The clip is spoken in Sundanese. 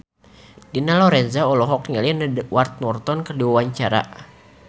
Dina Lorenza olohok ningali Edward Norton keur diwawancara